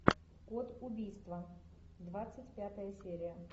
код убийства двадцать пятая серия